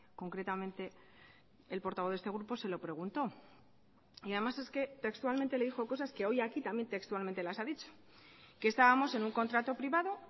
concretamente el portavoz de este grupo se lo preguntó y además es que textualmente le dijo cosas que hoy aquí también textualmente las ha dicho que estábamos en un contrato privado